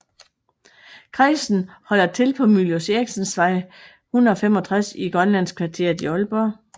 Kredsen holder til på Mylius Erichens Vej 165 i Grønlandskvarteret i Aalborg